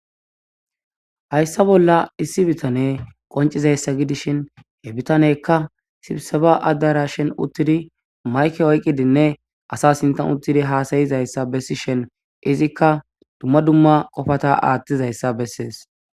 hayssa bolla issi bitane qoncizayssa gidishin he bitanekka sibseba addara shen uttidi mayke oyqqidinne asa sintan uttidi haasayizayssa bessi shen izikka dumma dumma qofata aaththizayssa bessees